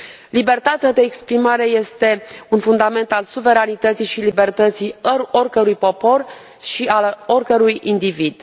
Libertatea de exprimare este un fundament al suveranității și libertății oricărui popor și al oricărui individ.